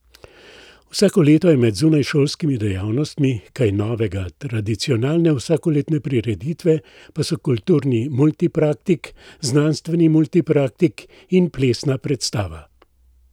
Vsako leto je med zunajšolskimi dejavnostmi kaj novega, tradicionalne vsakoletne prireditve pa so Kulturni multipraktik, Znanstveni multipraktik in plesna predstava.